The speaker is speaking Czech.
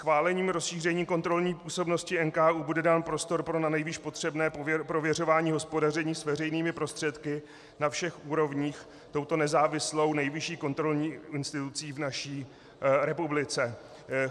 Schválením rozšíření kontrolní působnosti NKÚ bude dán prostor pro nanejvýš potřebné prověřování hospodaření s veřejnými prostředky na všech úrovních touto nezávislou nejvyšší kontrolní institucí v naší republice.